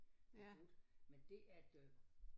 Blev brudt men det at øh